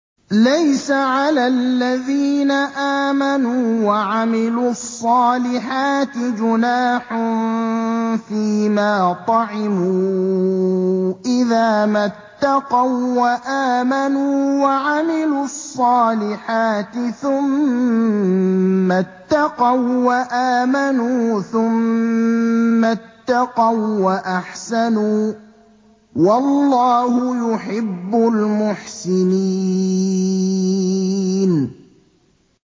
لَيْسَ عَلَى الَّذِينَ آمَنُوا وَعَمِلُوا الصَّالِحَاتِ جُنَاحٌ فِيمَا طَعِمُوا إِذَا مَا اتَّقَوا وَّآمَنُوا وَعَمِلُوا الصَّالِحَاتِ ثُمَّ اتَّقَوا وَّآمَنُوا ثُمَّ اتَّقَوا وَّأَحْسَنُوا ۗ وَاللَّهُ يُحِبُّ الْمُحْسِنِينَ